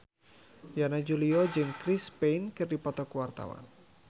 Yana Julio jeung Chris Pane keur dipoto ku wartawan